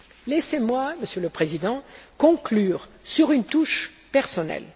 Laissez moi, Monsieur le Président, conclure sur une touche personnelle.